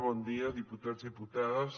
bon dia diputats diputades